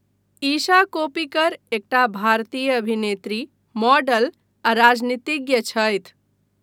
ईशा कोप्पिकर एकटा भारतीय अभिनेत्री, मॉडल आ राजनीतिज्ञ छथि।